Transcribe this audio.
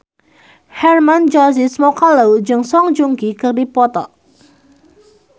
Hermann Josis Mokalu jeung Song Joong Ki keur dipoto ku wartawan